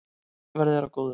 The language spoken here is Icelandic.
Verði þér að góðu.